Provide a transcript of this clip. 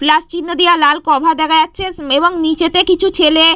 plus চিহ্ন দেওয়া লাল কভার দেখা যাচ্ছে এবং নীচেতে কিছু ছেলে --